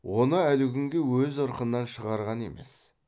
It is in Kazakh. оны әлі күнге өз ырқынан шығарған емес